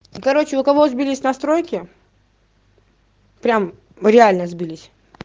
короче у кого сбились настройки прямо реально сбылись